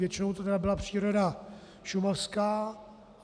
Většinou to tedy byla příroda šumavská.